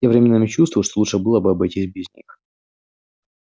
м временами чувствую что лучше было бы обойтись без них